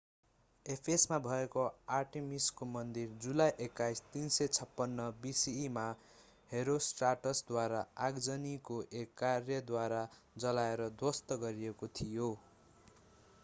एफेससमा भएको आर्टेमिसको मन्दिर जुलाई 21 356 bce मा हेरोस्ट्राटसद्वारा आगजनीको एक कार्यद्वारा जलाएर ध्वस्त गरिएको थियो